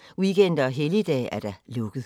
9.00-14.00, weekender og helligdage: lukket.